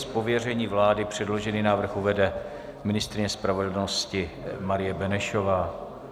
Z pověření vlády předložený návrh uvede ministryně spravedlnosti Marie Benešová.